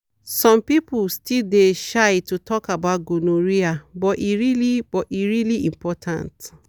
some people still dey shy to talk about gonorrhea but e really but e really important.